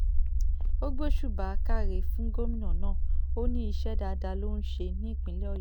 ó gbósùbà káre fún gómìnà náà ó ní iṣẹ́ dáadáa ló ń ṣe nípínlẹ̀ ọ̀yọ́